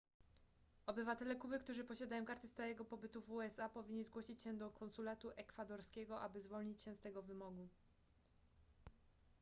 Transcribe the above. obywatele kuby którzy posiadają kartę stałego pobytu w usa powinni zgłosić się do konsulatu ekwadorskiego aby zwolnić się z tego wymogu